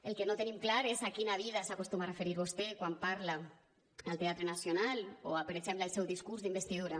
el que no tenim clar és a quina vida s’acostuma a referir vostè quan parla al teatre nacional o per exemple al seu discurs d’investidura